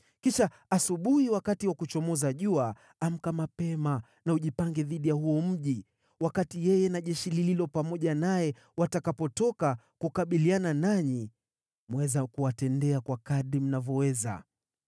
Kisha asubuhi wakati wa kuchomoza jua, amka mapema na ujipange dhidi ya huo mji. Wakati yeye na jeshi lililo pamoja naye watakapotoka kukabiliana nanyi, mwaweza kuwatendea kwa kadiri mnavyoweza.”